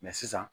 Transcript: sisan